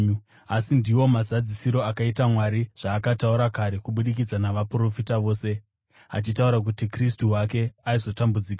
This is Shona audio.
Asi ndiwo mazadzisiro akaita Mwari zvaakataura kare kubudikidza navaprofita vose, achitaura kuti Kristu wake aizotambudzika.